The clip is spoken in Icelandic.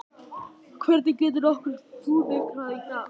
Hvernig getur nokkur fúnkerað í dag?